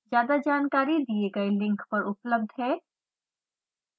ज्यादा जानकारी दिए गए लिंक पर उपलब्ध है